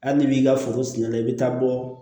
Hali n'i b'i ka foro siri i bɛ taa bɔ